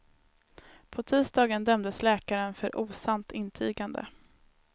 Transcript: På tisdagen dömdes läkaren för osant intygande.